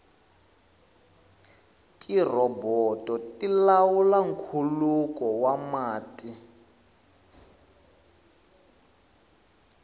tirhoboto ti lawula nkhuluko wa mati